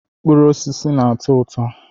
Mkpụrụ osisi na-atọ ụtọ.